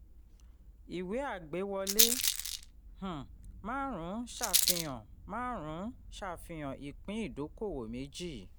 ìwé àgbéwọlé um márùn-ún ṣàfihàn márùn-ún ṣàfihàn ìpín ìdókòwò méjì.